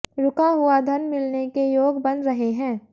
रुका हुआ धन मिलने के योग बन रहे हैं